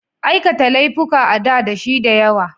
Aikata laifuka a da dashi da yawa.